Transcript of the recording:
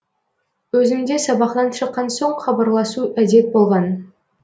өзімде сабақтан шыккан соң хабарласу әдет болған